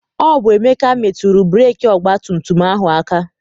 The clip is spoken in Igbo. Ọ bụ Emeka metụrụ breeki ọgbatumtum ahụ aka.